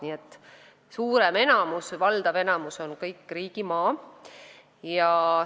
Nii et suurem osa sellest on riigimaa.